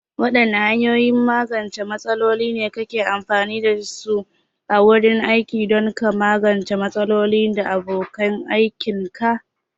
Waɗanne hanyoyin magance matsaloli ne kake amfani da su a wurin aiki don ka magance matsaloli da abokan aikinka?